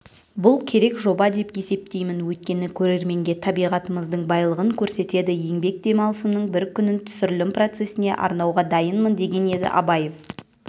бұл керек жоба деп есептеймін өйткені көрерменге табиғатымыздың байлығын көрсетеді еңбек демалысымның бір күнін түсірілім процесіне арнауға дайынмын деген еді абаев